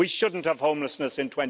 We shouldn't have homelessness in